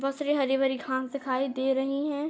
बोहोत सरी हरी-भरी घास दिखाई दे रही हैं।